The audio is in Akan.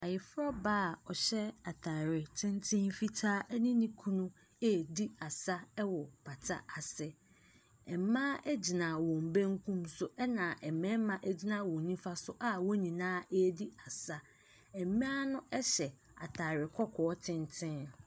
Ayefrɔbaa a ɔhyɛ ataareɛ tenten fitaa ne ne nkunu redi asa wɔ pata ase. Mmaa gyinagyina wɔn benkum so , ɛna mmarima gyina wɔn nimfa so a wɔn nyinaa redi asa. Mmaa no nhyɛ ataare kɔkɔɔ tenten.